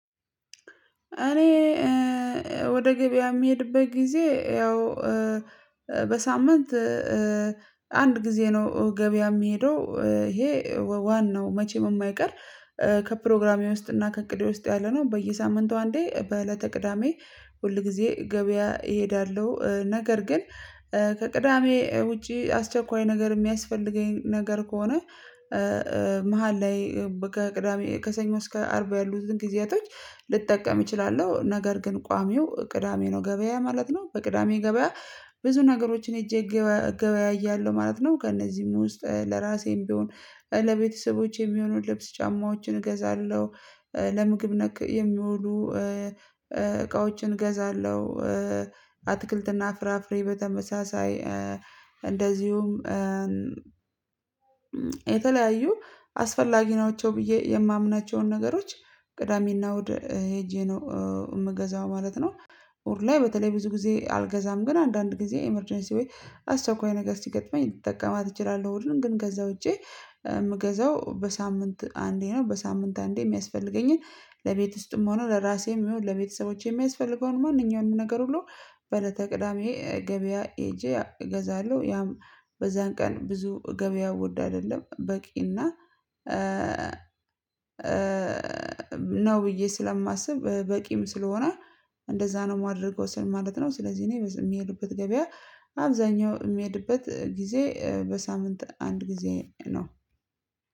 እኔ ወደ ገበያ የምሄድበት ጊዜ ያው በሳምንት አንድ ጊዜ ነው ገበያ የምሄደው ይሄ ዋናው መቼም የማይቀር ከፕሮግራሜ ውስጥ እና ከእቅዴ ውስጥ ያለ ነው በየሳምንቱ አንዴ በእለተ ቅዳሜ ሁል ጊዜ ገበያ እሄዳለሁ። ነገር ግን ከቅዳሜ ውጪ አስቸኳይ ነገር የሚያስፈልገኝ ነገር ከሆነ መሃል ላይ ከቅዳሜ ከሰኞ እስከ አርብ ያሉትን ጊዜያቶች ልጠቀም እችላለሁ ነገር ግን ቋሚው ቅዳሜ ነው ገበያ ማለት ነው። በቅዳሜ ገበያ ብዙ ነገሮችን ሄጄ ገበያያለሁ ማለት ነው። ከእነዚህም ውስጥ ለራሴም ቢሆን ለቤተሰቦቼም የሆኑ ልብስ ጫማዎችን እገዛለሁ ለምግብ ነክ የሚውሉ እቃዎችን እገዛለሁ። አትክልትና ፍራፍሬ በተመሳሳይ እንደዚሁም የተለያዩ አስፈላጊ ናቸው ብዬ የማምናቸውን ነገሮች ቅዳሜና እሁድ ሄጄ ነው የምገዛው ማለት ነው። እሁድ ላይ በተለይ ብዙ ጊዜ አልገዛም ግን አንዳንድ ጊዜ ኢመርጀንሲ ዌይ አስቸኳይ ነገር ሲገጥመኝ ልጠቀማት እችላለሁ እሁድን ግን ከዛ ውጪ የምገዛው በሳምንት አንዴ ነው። በሳምንት አንዴ የሚያስፈልገኝን ለቤት ውስጥም ሆኖ ለራሴም ለቤተሰቦቼም የሚያስፈልገውን ማንኛውም ነገር ሁሉ በእለተ ቅዳሜ ገበያ ሄጄ እገዛለሁ። ያም በዛን ቀን ብዙ ገበያ ወድ አይደለም በቂ እና ነው ብዬ ስለማስብ በቂም ስለሆነ እንደዛ ነው የማደርገው ስል ማለት ነው። ስለዚህ እኔ የምሄዱበት ገበያ አብዛኛው የምሄድበት ጊዜ በሳምንት አንድ ጊዜ ነው